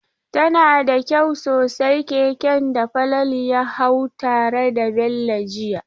Tana da kyau sosai keken da Falalu ya hau tare da Bello jiya.